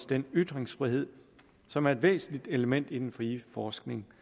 den ytringsfrihed som er et væsentligt element i den frie forskning